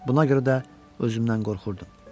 Buna görə də özümdən qorxurdum.